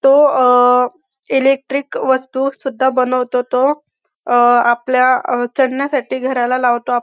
तो अ इलेक्ट्रिक वस्तू सुद्धा बनवतो तो अ आपल्या चढण्यासाठी घराला लावतो आप --